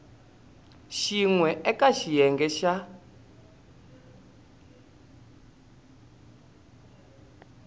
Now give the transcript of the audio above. xin we eka xiyenge xa